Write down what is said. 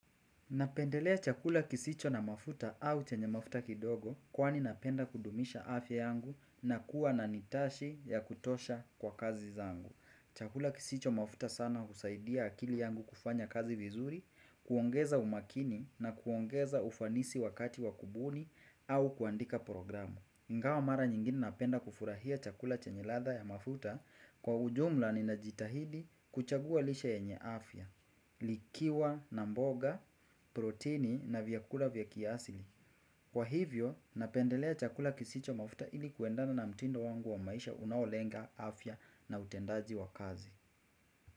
Napendelea chakula kisicho na mafuta au chenye mafuta kidogo kwani napenda kudumisha afya yangu na kuwa na nitashi ya kutosha kwa kazi zangu. Chakula kisicho mafuta sana usaidia akili yangu kufanya kazi vizuri, kuongeza umakini na kuongeza ufanisi wakati wakubuni au kuandika programu. Ingawa mara nyingine napenda kufurahia chakula chenye ladha ya mafuta kwa ujumla ninajitahidi kuchagua lisha yenye afya, likiwa, namboga, protini na vyakula vyakiasili. Kwa hivyo, napendelea chakula kisicho mafuta ili kuendana na mtindo wangu wa maisha unaolenga afya na utendaji wa kazi.